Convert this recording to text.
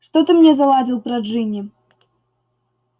что ты мне заладил про джинни